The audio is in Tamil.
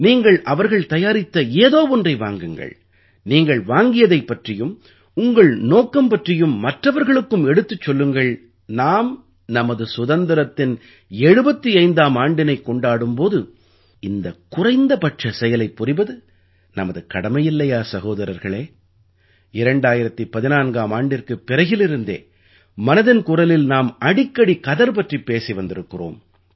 நீங்கள்அவர்கள் தயாரித்த ஏதோ ஒன்றை வாங்குங்கள் நீங்கள் வாங்கியதைப் பற்றியும் உங்கள் நோக்கம் பற்றியும் மற்றவர்களுக்கும் எடுத்துச் சொல்லுங்கள் நாம் நமது சுதந்திரத்தின் 75ஆம் ஆண்டினைக் கொண்டாடும் போது இந்த குறைந்தபட்ச செயலைப் புரிவது நமது கடமையில்லையா சகோதரர்களே 2014ஆம் ஆண்டிற்குப் பிறகிலிருந்தே மனதின் குரலில் நாம் அடிக்கடி கதர் பற்றிப் பேசி வந்திருக்கிறோம்